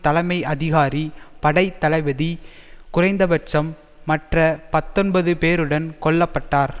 தலைமை அதிகாரி படை தளபதி குறைந்தபட்சம் மற்ற பத்தொன்பது பேருடன் கொல்ல பட்டார்